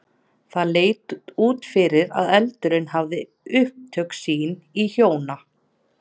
Það leit út fyrir að eldurinn hefði átt upptök sín í hjóna